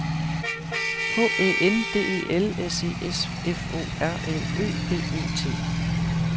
H Æ N D E L S E S F O R L Ø B E T